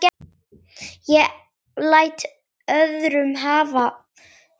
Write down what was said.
Ég læt öðrum það eftir.